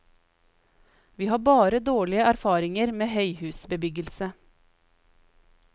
Vi har bare dårlige erfaringer med høyhusbebyggelse.